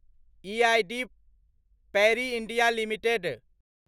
EID Parry India limited